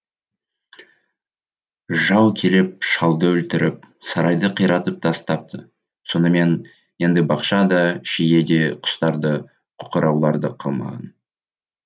жау келіп шалды өлтіріп сарайды қиратып тастапты сонымен енді бақша да шие де құстар да қоқыраулар да қалмаған